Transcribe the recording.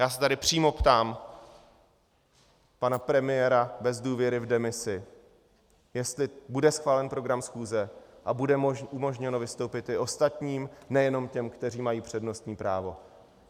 Já se tady přímo ptám pana premiéra bez důvěry v demisi , jestli bude schválen program schůze a bude umožněno vystoupit i ostatním, nejenom těm, kteří mají přednostní právo.